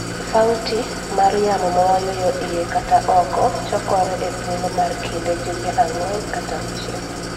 sauti mar yamo mawayueyo iye kata oko chakokore e thuolo mar kind jumbe ang'wen nyaka auchiel